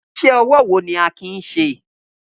Iṣẹ́ ọwọ́ wo ni Akin ń ṣe?